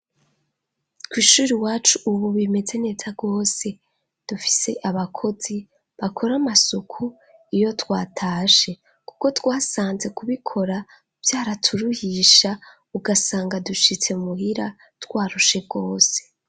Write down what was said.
Kw'ishuri wacu, ubu bimeze neta rwose dufise abakozi bakora amasuku iyo twatashe, kuko twasanze kubikora vyaraturuhisha ugasanga dushitse muhira twarushe rwose.